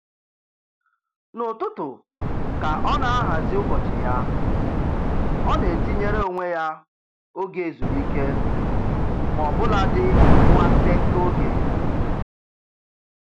N'ụtụtụ ka ọ na-ahazi ụbọchị ya, ọ na-etinyere onwe ya oge ezumike maọbụladị nwa nkenke oge